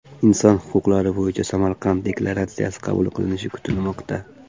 Inson huquqlari bo‘yicha Samarqand deklaratsiyasi qabul qilinishi kutilmoqda.